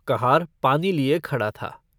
कहार पानी लिये खड़ा था।